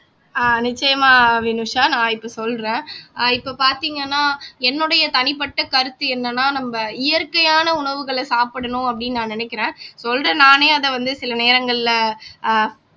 ஆஹ் நிச்சயமா வினுஷா நான் இப்போ சொல்றேன் ஆஹ் இப்போ பார்த்தீங்கன்னா என்னுடைய தனிப்பட்ட கருத்து என்னன்னா நம்ப இயற்கையான உணவுகளை சாப்பிடணும் அப்படின்னு நான் நினைக்கிறேன் சொல்றேன் நானே அத வந்து சில நேரங்கள்ல